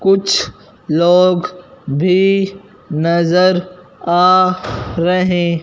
कुछ लोग भी नजर आ रहे--